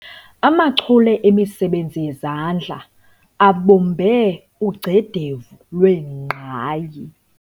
Amachule emisebenzi yezandla abumbe ugcedevu lwengqayi.